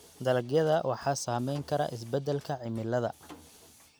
Dalagyada waxaa saameyn kara isbeddelka cimilada.